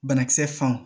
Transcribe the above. Banakisɛ fan